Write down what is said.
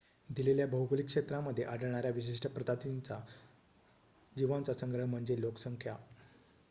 दिलेल्या भौगोलिक क्षेत्रामध्ये आढळणाऱ्या विशिष्ट प्रजातींच्या जीवांचा संग्रह म्हणजे लोकसंख्या